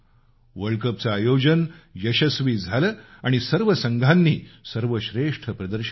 world कपचं आयोजन यशस्वी झालं आणि सर्व संघांनी सर्वश्रेष्ठ प्रदर्शन केलं